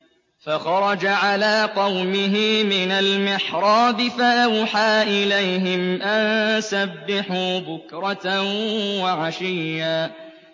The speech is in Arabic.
فَخَرَجَ عَلَىٰ قَوْمِهِ مِنَ الْمِحْرَابِ فَأَوْحَىٰ إِلَيْهِمْ أَن سَبِّحُوا بُكْرَةً وَعَشِيًّا